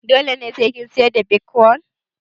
Dole sai ka siyar da bitkwon